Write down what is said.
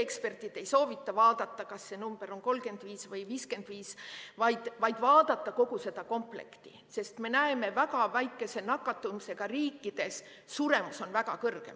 Eksperdid ei soovita vaadata, kas see number on 35 või 55, vaid vaadata kogu seda komplekti, sest me näeme, et väga väikese nakatumisega riikides on suremus väga kõrge.